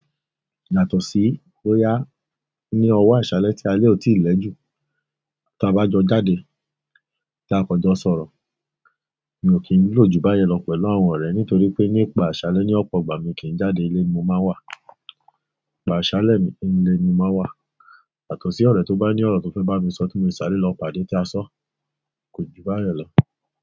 Yàtọ̀ sí bóyá ní ọwọ́ àṣálẹ́ tí alé ò tíì lẹ́jù. Tí a bá jọ jáde tí a kò jọ sọ̀rọ̀, mi ò kí ń lò ju báyẹn lọ pẹ̀lú àwọn ọ̀rẹ́ nítorí pé nípa àṣálẹ́ ní ọ̀pọ̀ ìgbà mi kì í jáde ilé mo máa wà. Àṣálẹ́ mi, ínú ilé ni mo máa wà. Yàtọ̀ sí ọ̀rẹ́ tó bá ní ọ̀rọ̀ tó fẹ́ bá mi sọ tí mo lè sáré lọ pàdé tí a só, kò jù báyẹn lọ.